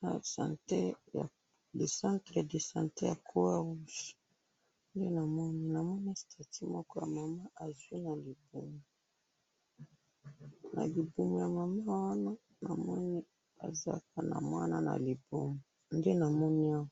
na centre de sante ya croix rouge ,nde namoni namoni statut ya mama moko azwi na liboumou, na liboumou ya maman wana namoni aza kaka na mwana na liboumou nde namoni awa.